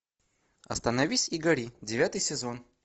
остановись и гори девятый сезон